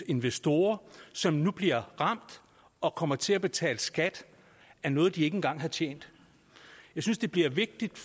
investorer som nu bliver ramt og kommer til at betale skat af noget de ikke engang har tjent jeg synes det bliver vigtigt